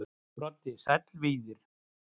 Broddi: Sæll Víðir.